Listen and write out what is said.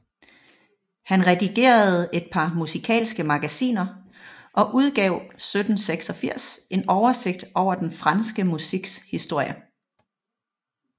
Han redigerede et par musikalske magasiner og udgav 1786 en oversigt over den franske musiks historie